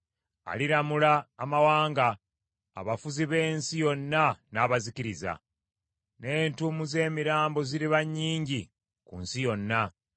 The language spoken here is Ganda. Aliramula amawanga, abafuzi b’ensi yonna n’abazikiriza, n’entuumo z’emirambo ziriba nnyingi ku nsi yonna.